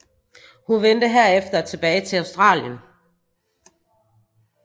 Hun vendte herefter tilbage til Australien